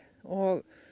og